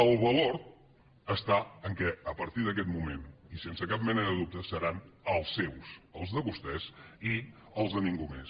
el valor està en el fet que a partir d’aquest moment i sense cap mena de dubte seran els seus els de vostès i els de ningú més